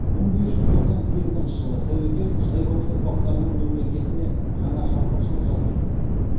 мың бес жүз тоқсан сегізінші жылы тәуекел шайбани ұрпақтарының мемлекетіне жаңа шапқыншылық жасайды